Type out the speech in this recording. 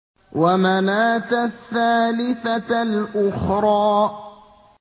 وَمَنَاةَ الثَّالِثَةَ الْأُخْرَىٰ